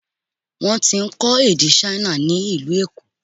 Wọ́n ti ń kọ́ èdè Ṣáínà ni ìlú Èkó.